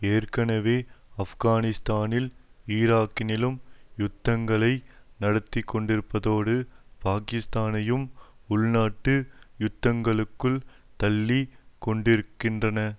ஏற்கனவே ஆப்கானிஸ்தானிலும் ஈராக்கிலும் யுத்தங்களை நடத்திக்கொண்டிருப்பதோடு பாகிஸ்தானையும் உள்நாட்டு யுத்தத்துக்குள் தள்ளிக்கொண்டிருக்கின்றது